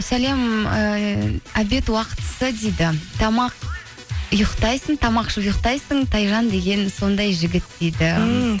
сәлем ііі обед уақытысы дейді тамақ ішіп ұйықтайсың тайжан деген сондай жігіт дейді ммм